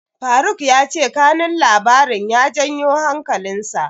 Faruk ya ce kanun labarin ya janyo hankalinsa.